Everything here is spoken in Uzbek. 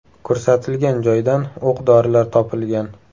Ko‘rsatilgan joydan o‘q-dorilar topilgan.